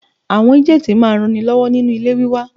Àwọn ágéǹtì máa ń ran ni lọ́wọ́ nínu ilé wíwá.